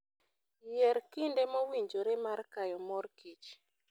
Yier kinde mowinjore mar kayo mor kich.